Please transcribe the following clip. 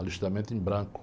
Alistamento em branco.